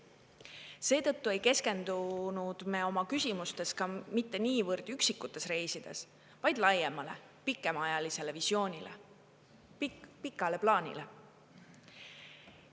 Seetõttu ei keskendunud me oma küsimustes mitte niivõrd üksikutes reisides, vaid laiemale pikemaajalisele visioonile, pikale plaanile.